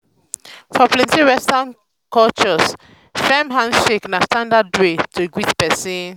for plenty western cultures firm handshake na standard way to greet pesin.